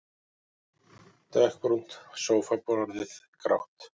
Dökkbrúnt sófaborðið grátt.